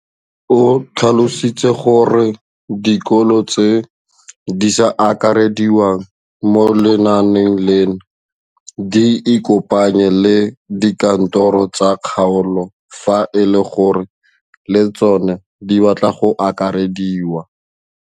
O tlhalositse gore dikolo tse di sa akarediwang mo lenaaneng leno di ikopanye le dikantoro tsa kgaolo fa e le gore le tsona di batla go akarediwa.